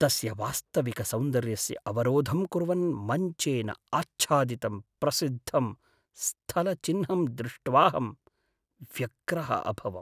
तस्य वास्तविकसौन्दर्यस्य अवरोधं कुर्वन् मञ्चेन आच्छादितं प्रसिद्धं स्थलचिह्नं दृष्ट्वाहं व्यग्रः अभवम्।